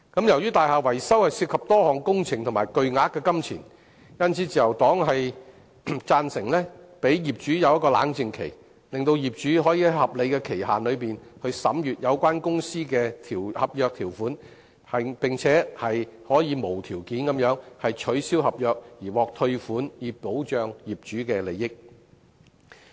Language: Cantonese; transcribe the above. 由於大廈維修涉及多項工程及巨額金錢，因此，自由黨贊成給予業主冷靜期，讓業主可以在合理限期內審閱有關公司的合約條款，並且可以無條件地取消合約而獲退款，以保障業主的利益。